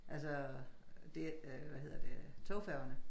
Altså det øh hvad hedder det togfærgerne